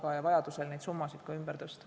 Vajaduse korral peaks saama neid summasid ümber tõsta.